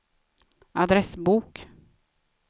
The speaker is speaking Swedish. adressbok